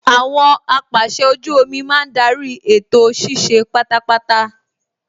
Àwọn apàsẹ ojú omi máa ń darí ètò ṣíṣe pátápátá